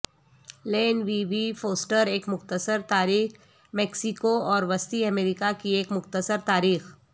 لین V V Foster ایک مختصر تاریخ میکسیکو اور وسطی امریکہ کی ایک مختصر تاریخ